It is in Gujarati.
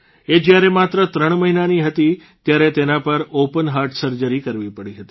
એ જયારે માત્ર ૩ મહિનાની હતી ત્યારે તેના પર ઓપન હાર્ટસર્જરી કરવી પડી હતી